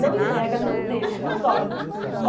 Não entrega, não deixa, não dorme.